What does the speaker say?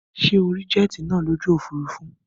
Sé o rí jet nàá lójú òfurufú